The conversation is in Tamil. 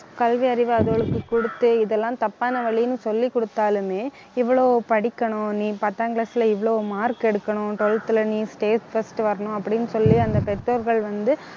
கல்வி அறிவு அதுகளுக்கு கொடுத்து, இதெல்லாம் தப்பான வழின்னு சொல்லி கொடுத்தாலுமே இவ்வளவு படிக்கணும், நீ பத்தாம் class ல இவ்வளவு mark எடுக்கணும் , twelfth ல நீ state first வரணும் அப்படின்னு சொல்லி அந்த பெற்றோர்கள் வந்து